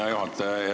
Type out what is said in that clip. Hea juhataja!